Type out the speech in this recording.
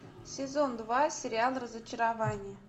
сезон два сериал разочарование